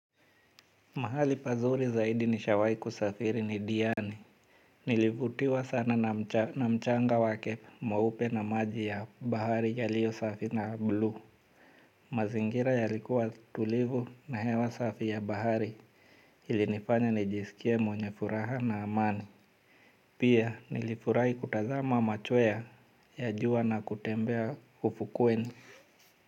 Mahali pazuri zaidi nishawai kusafiri ni diani. Nilivutiwa sana na mchanga wake mweupe na maji ya bahari yaliyo safi na blu. Mazingira yalikuwa tulivu na hewa safi ya bahari ilinifanya nijisikie mwenye furaha na amani. Pia nilifurai kutazama machoya ya jua na kutembea ufukweni.